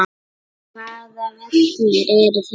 Hvaða vellir eru þetta?